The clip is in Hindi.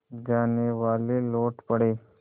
जानेवाले लौट पड़े